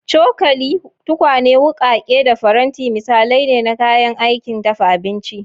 Cokali, tukwane, wukake, da faranti misalai ne na kayan aikin dafa abinci.